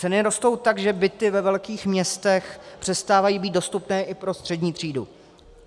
Ceny rostou tak, že byty ve velkých městech přestávají být dostupné i pro střední třídu.